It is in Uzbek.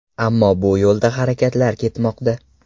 Ammo bu yo‘lda harakatlar ketmoqda.